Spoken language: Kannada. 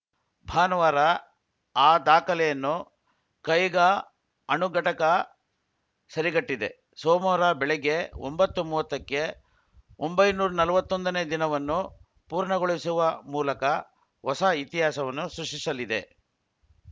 ಭಾನುವಾರ ಆ ದಾಖಲೆಯನ್ನು ಕೈಗಾ ಅಣು ಘಟಕ ಸರಿಗಟ್ಟಿದೆ ಸೋಮವಾರ ಬೆಳಗ್ಗೆ ಒಂಬತ್ತು ಮೂವತ್ತಕ್ಕೆ ಒಂಬೈನೂರ ನಲ್ವತ್ತೊಂದನೇ ದಿನವನ್ನು ಪೂರ್ಣಗೊಳಿಸುವ ಮೂಲಕ ಹೊಸ ಇತಿಹಾಸವನ್ನು ಸೃಷ್ಟಿಸಲಿದೆ